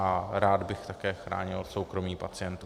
A rád bych také chránil soukromí pacientů.